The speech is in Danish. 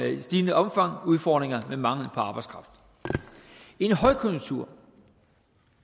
i stigende omfang udfordringer med mangel på arbejdskraft i en højkonjunktur